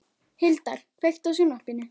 Hildar, kveiktu á sjónvarpinu.